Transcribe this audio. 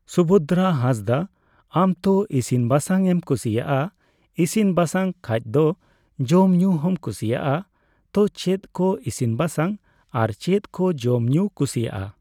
ᱥᱩᱵᱷᱚᱫᱽᱫᱨᱟ ᱦᱟᱸᱥᱫᱟ ᱟᱢ ᱛᱚ ᱤᱥᱤᱱᱼᱵᱟᱥᱟᱝ ᱮᱢ ᱠᱩᱥᱤᱭᱟᱜᱼᱟ, ᱤᱥᱤᱱᱼᱵᱟᱥᱟᱝ ᱠᱷᱟᱡ ᱫᱚ ᱡᱚᱢᱼᱧᱩ ᱦᱚᱸᱢ ᱠᱩᱥᱤᱭᱟᱜᱼᱟ, ᱛᱚ, ᱪᱮᱫ ᱠᱚ ᱤᱥᱤᱱᱼᱵᱟᱥᱟᱝ ᱟᱨ ᱪᱮᱫ ᱠᱚ ᱡᱚᱢᱼᱧᱩᱢ ᱠᱩᱥᱤᱣᱟᱜᱼᱟ᱾